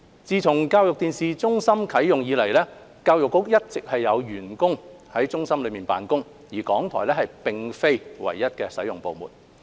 自教育電視中心啟用以來，教育局一直有員工在中心內辦公，港台並非唯一的使用部門。